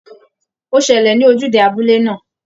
Ó ṣẹlẹ̀ ní ojúde abúlé náà